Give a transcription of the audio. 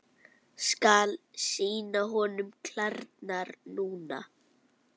Skal sýna honum klærnar núna.